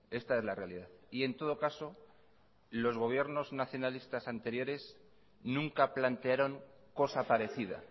esta es la realidad y en todo caso los gobiernos nacionalistas anteriores nunca plantearon cosa parecida